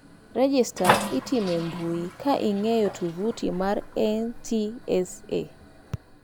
Rejesta itimo e yor mbui ka ing'iyo tuvuti mar NTSA.